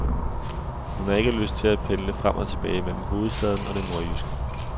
Hun har ikke lyst til at pendle frem og tilbage mellem hovedstaden og det nordjyske.